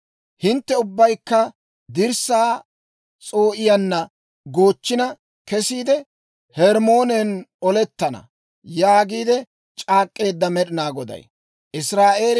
Hintte ubbaykka dirssaa s'oo'iyaanna goochchina kesiide, Hermmoonen olettana» yaagiide c'aak'k'eedda Med'inaa Goday.